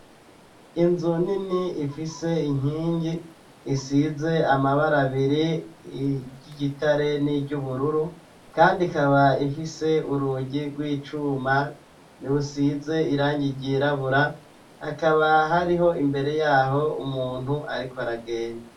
Inzu nini ifise inkingi isize amabara biri y'igitare n'iryubururu kandi ikaba ifise urugi gw'icuma rusize irangi ryirabura hakaba hariho imbere yaho umuntu ariko aragenda.